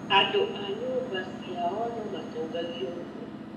Andũ a nyũmba ciao nomatũngagio ruo